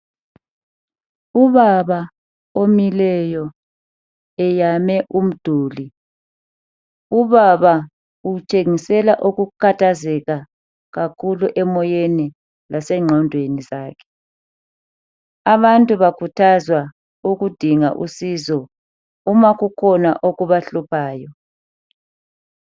ubaba omileyo eyame umduli ubaba utshengisela ukukhathazeka kakhulu emoyeni lasenqondweni zakhe aabantu bakhuthwa ukudinga usizo uma kukhona okubahluphayo